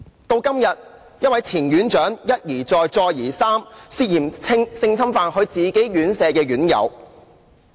到了今天，一位前院長一而再、再而三涉嫌性侵犯其管理院舍的院友。